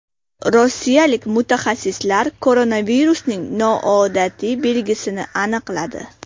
Rossiyalik mutaxassislar koronavirusning noodatiy belgisini aniqladi.